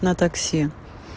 на такси